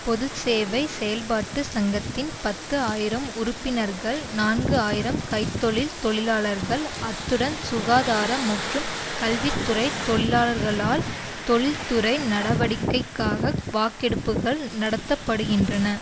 பொது சேவை செயல்பாட்டு சங்கத்தின் பத்து ஆயிரம் உறுப்பினர்கள் நான்கு ஆயிரம் கை தொழில் தொழிலாளர்கள் அத்துடன் சுகாதார மற்றும் கல்வி துறை தொழிலாளர்களால் தொழில்துறை நடவடிக்கைக்காக வாக்கெடுப்புகள் நடத்த படுகின்றன